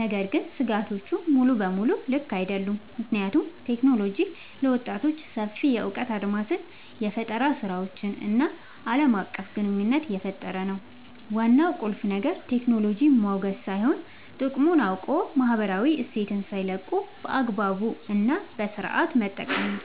ነገር ግን ስጋቶቹ ሙሉ በሙሉ ልክ አይደሉም፤ ምክንያቱም ቴክኖሎጂ ለወጣቶች ሰፊ የእውቀት አድማስን፣ የፈጠራ ስራዎችን እና ዓለም አቀፍ ግንኙነት እየፈጠረ ነው። ዋናው ቁልፍ ነገር ቴክኖሎጂን ማውገዝ ሳይሆን፣ ጥቅሙን አውቆ ማህበራዊ እሴትን ሳይለቁ በአግባቡ እና በስነሥርዓት መጠቀም ነው።